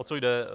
O co jde.